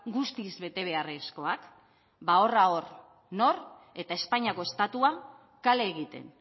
guztiz bete beharrezkoak ba horra hor nor eta espainiako estatua kale egiten